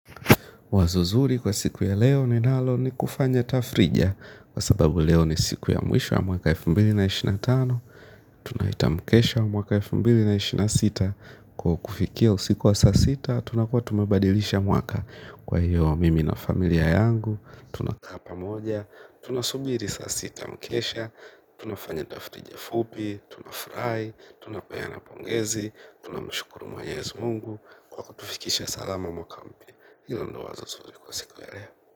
Wazo zuri kwa siku ya leo ninalo ni kufanya tafrija. Kwa sababu leo ni siku ya mwisho ya mwaka elfu mbili na ishirini na tano. Tunahitamu kesho mwaka elfu mbili ishirini na sita. Kwa kufikia usiku wa saa sita tunakuwa tumebadilisha mwaka. Kwa hiyo mimi na familia yangu tunakaa pamoja. Tunasubiri saa sita mkesha. Tunafanya tafrija fupi. Tunafurahi. Tunapeana pongezi. Tunamshukuru mwenyezi mungu kwa kutufikisha salama mwaka mpya. Hilo ndo wazo zuri kwa siku ya leo.